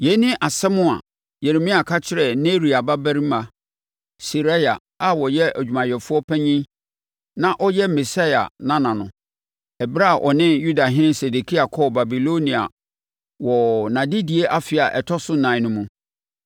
Yei ne asɛm a Yeremia ka kyerɛɛ Neria babarima Seraia a ɔyɛ adwumayɛfoɔ panin na ɔyɛ Maseia nana no, ɛberɛ a ɔne Yudahene Sedekia kɔɔ Babilonia wɔ nʼadedie afe a ɛtɔ so ɛnan no mu.